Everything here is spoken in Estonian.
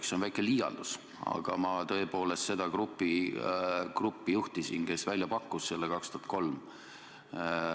See on väike liialdus, aga ma tõepoolest seda gruppi juhtisin, kes selle mõtte välja pakkus aastal 2003.